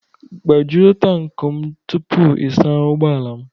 Gbajuo tankị m tupu ị saa ụgbọ ala m